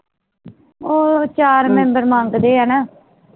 ਉਹ ਚਾਰ member ਮੰਗਦੇ ਹੈ ਨਾ